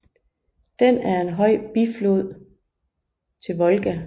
Den er en højre biflod til Volga